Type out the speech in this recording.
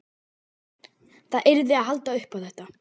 Það yrði að halda upp á þetta.